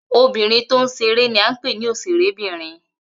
Obìnrin tó ń ṣe eré ní à ń pè ní òṣèré bìnrin